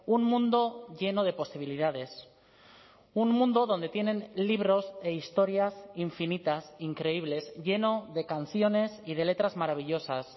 un mundo lleno de posibilidades un mundo donde tienen libros e historias infinitas increíbles lleno de canciones y de letras maravillosas